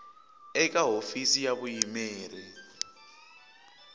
a eka hofisi ya vuyimeri